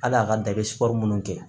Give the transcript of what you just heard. Hali a ka da i bɛ sikɔri minnu kɛ